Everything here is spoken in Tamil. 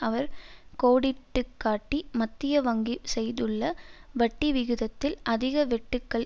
அவர் கோடிட்டுக்காட்டி மத்திய வங்கி செய்துள்ள வட்டிவிகிதத்தில் அதிக வெட்டுக்கள்